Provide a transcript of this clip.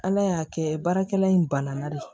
Ala y'a kɛ baarakɛla in banana de ye